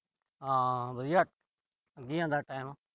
ਹਾਂ ਵਧੀਆ ਲੰਘੀ ਜਾਂਦਾ ਟੈਮ।